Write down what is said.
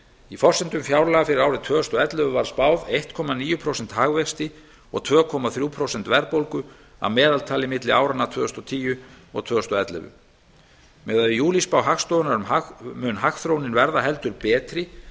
í forsendum fjárlaga fyrir árið tvö þúsund og ellefu var spáð einn komma níu prósenta hagvexti og tvö komma þrjú prósent verðbólgu að meðaltali milli áranna tvö þúsund og tíu og tvö þúsund og ellefu miðað við júlíspá hagstofunnar mun hagþróunin verða heldur betri